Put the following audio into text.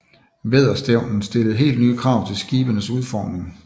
Vædderstævnen stillede helt nye krav til skibenes udformning